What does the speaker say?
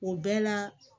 O bɛɛ la